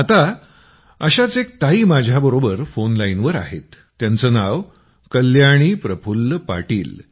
आता अशाच एक ताई माझ्याबरोबर फोन लाईनवर आहेत त्यांचं नाव कल्याणी प्रफुल्ल पाटील